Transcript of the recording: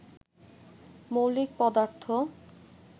মৌলিক পদার্থ